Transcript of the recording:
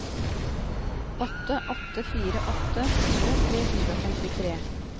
åtte åtte fire åtte tjue tre hundre og femtitre